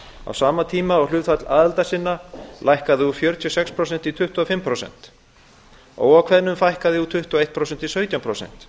á sama tíma og hlutfall aðildarsinna lækkaði úr fjörutíu og sex prósentum í tuttugu og fimm prósent óákveðnum fækkaði úr tuttugu og einu prósenti í sautján prósent